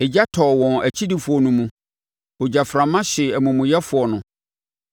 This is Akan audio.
Egya tɔɔ wɔn akyidifoɔ no mu; ogyaframa hyee amumuyɛfoɔ no.